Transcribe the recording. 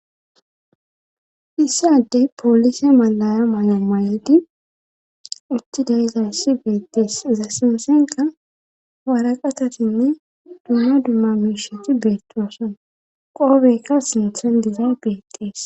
issi adey poolise malaya maya mayidi utti de7izayssi beettees izzas sinthankka waraqatatinne dumma dumma miishati beettoasona qoobeykka sinthan dizays beetees